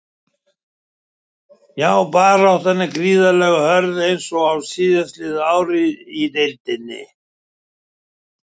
Já baráttan er gríðarlega hörð eins og síðastliðin ár í deildinni.